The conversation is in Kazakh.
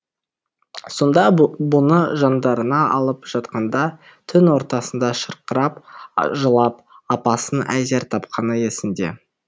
сонда бұны жандарына алып жатқанда түн ортасында шырқырап жылап апасын әзер тапқаны есінде